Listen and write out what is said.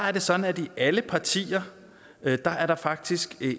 er sådan at i alle partier er der faktisk